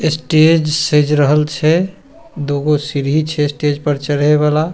Stage सेज रहल छै दू गो सीढ़ी छै स्टेज पे चढ़े वाला।